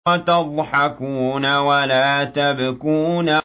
وَتَضْحَكُونَ وَلَا تَبْكُونَ